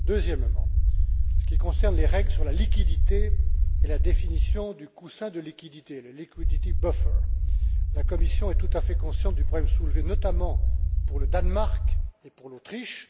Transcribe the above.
Deuxièmement, en ce qui concerne les règles sur la liquidité et la définition du coussin de liquidité, le liquidity buffer la Commission est tout à fait consciente du problème soulevé notamment pour le Danemark et pour l'Autriche.